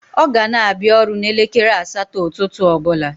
O gana abia oru n'elekere asato ututu obula